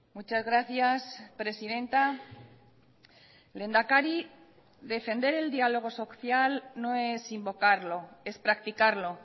muchas gracias presidenta lehendakari defender el diálogo social no es invocarlo es practicarlo